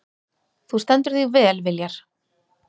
Þú stendur þig vel, Viljar!